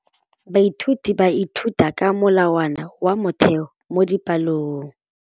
Baithuti ba ithuta ka molawana wa motheo mo dipalong.